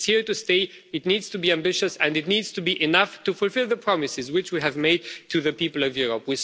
it is here to stay, it needs to be ambitious and it needs to be enough to fulfil the promises which we have made to the people of Europe.